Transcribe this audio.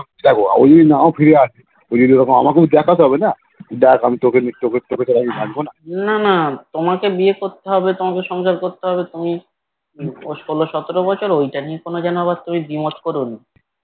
দেখ উনি নাও ফিরে আসতে পারে আমাকে দেখতে হবেনা দেখ আমি তোকে তোকে রাখবোনা